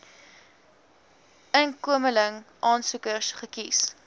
inkomeling aansoekers gekies